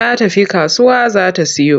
Ta tafi kasuwa za ta siyo.